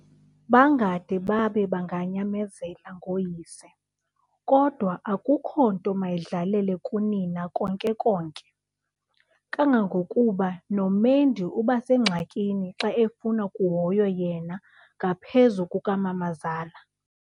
Bangade babe banganyamezela ngooyise, kodwa akukho nto mayidlalele kunina konke-konke, kangangokuba noMendi ubasengxakini xa efuna kuhoywe yena ngaphezu kukamamazala.